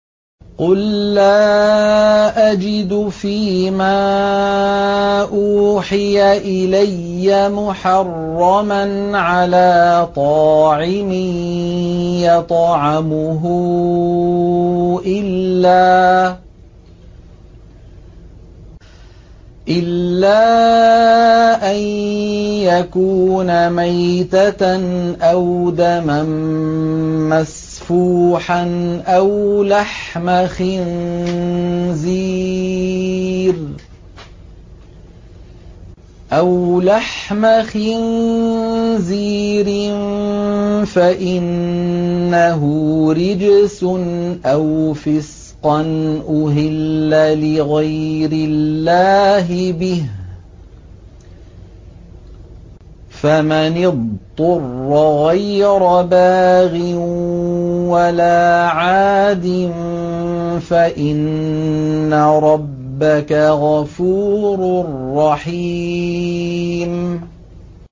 قُل لَّا أَجِدُ فِي مَا أُوحِيَ إِلَيَّ مُحَرَّمًا عَلَىٰ طَاعِمٍ يَطْعَمُهُ إِلَّا أَن يَكُونَ مَيْتَةً أَوْ دَمًا مَّسْفُوحًا أَوْ لَحْمَ خِنزِيرٍ فَإِنَّهُ رِجْسٌ أَوْ فِسْقًا أُهِلَّ لِغَيْرِ اللَّهِ بِهِ ۚ فَمَنِ اضْطُرَّ غَيْرَ بَاغٍ وَلَا عَادٍ فَإِنَّ رَبَّكَ غَفُورٌ رَّحِيمٌ